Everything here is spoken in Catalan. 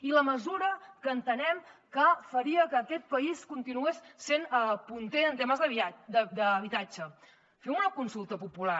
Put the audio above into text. i la mesura que entenem que faria que aquest país continués sent punter en temes d’habitatge fem una consulta popular